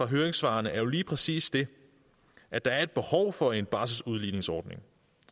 høringssvarene er jo lige præcis det at der er et behov for en barselsudligningsordning